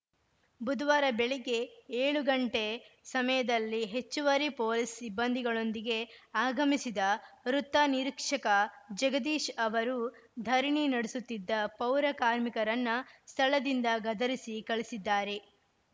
ಬುದ್ವಾರ ಬೆಳಿಗ್ಗೆ ಏಳು ಗಂಟೆ ಸಮಯದಲ್ಲಿ ಹೆಚ್ಚುವರಿ ಪೊಲೀಸ್‌ ಸಿಬ್ಬಂದಿಗಳೊಂದಿಗೆ ಆಗಮಿಸಿದ ವೃತ್ತ ನಿರೀಕ್ಷಕ ಜಗದೀಶ್‌ ಅವರು ಧರಣಿ ನಡೆಸುತ್ತಿದ್ದ ಪೌರ ಕಾರ್ಮಿಕರನ್ನ ಸ್ಥಳದಿಂದ ಗದರಿಸಿ ಕಳಿಸಿದ್ದಾರೆ